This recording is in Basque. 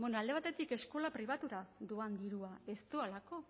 alde batetik eskola pribatura doa dirua ez doalako